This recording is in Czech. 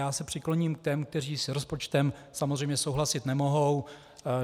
Já se přikloním k těm, kteří s rozpočtem samozřejmě souhlasit nemohou.